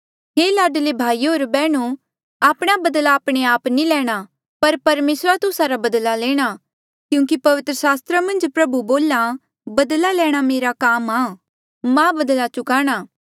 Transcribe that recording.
हे लाडले भाईयो होर बैहणो आपणा बदला आपणे आप नी लैणा पर परमेसरा जो तुस्सा रा बदला लेणा क्यूंकि पवित्र सास्त्रा मन्झ प्रभु बोल्हा बदला लैणा मेरा काम आ मां बदला चुकाणा